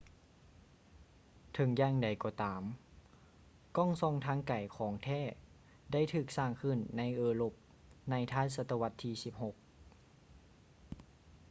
ເຖິງຢ່າງໃດກໍຕາມ ກ້ອງສ່ອງທາງໄກຂອງແທ້ໄດ້ຖືກສ້າງຂຶ້ນໃນເອີຣົບໃນທ້າຍສະຕະວັດທີ 16